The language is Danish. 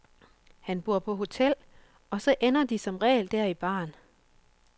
Han bor på hotel, og så ender de som regel der i baren.